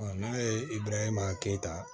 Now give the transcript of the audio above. n'a ye i b'a ye maa keyita